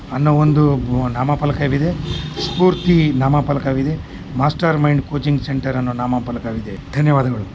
ಅಣ್ಣಾ ಒಂದು ನಾಮಪಲಕವಿದೆ ಸ್ಪೂರ್ತಿ ನಾಮಪಲಕವಿದೆ ಮಾಸ್ಟರ್ ಮೈಂಡ್ ಕೊಚಿಂಗ್ ಸೆಂಟರ್